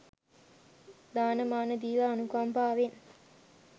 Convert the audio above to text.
දාන මාන දීලා අනුකම්පාවෙන්